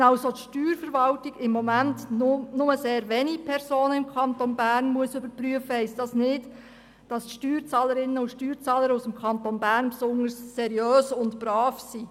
Wenn die Steuerverwaltung im Moment nur sehr wenige Personen im Kanton Bern überprüfen muss, heisst das nicht, dass die Steuerzahlerinnen und Steuerzahler aus dem Kanton Bern besonders seriös und brav sind.